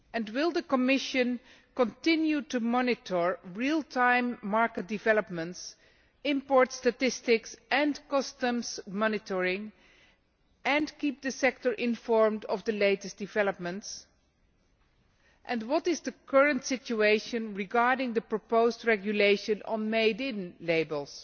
Will the Commission continue to monitor real time market developments, import statistics and customs monitoring and keep the sector informed of the latest developments? What is the current situation regarding the proposed regulation on made in' labels?